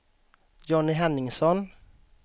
Johnny Henningsson